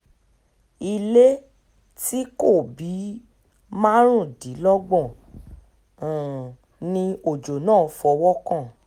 ilé tí kò bíi márùndínlọ́gbọ̀n um ni ọjọ́ náà fọwọ́ kan